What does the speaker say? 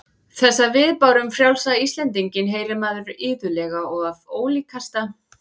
Þessa viðbáru um frjálsa Íslendinginn heyrir maður iðulega og af ólíkasta